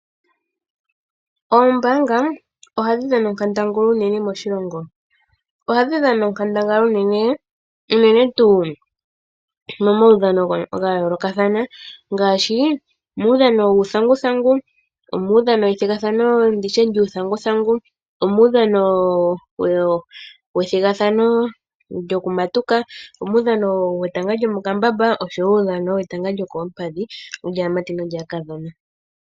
Oombaanga ohadhi dhana onkandangala unene moshilongo. Ohadhi dhana onkandangala unene, unene tuu momaudhano ga yoolokathana ngaashi muudhano wuuthanguthangu, omuudhano wethigathano lyokumatuka, omudhano wetanga lyomokambamba nosho wo uudhano wetanga lyokoompadhi lyaamati naakadhona.